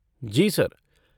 जी sir.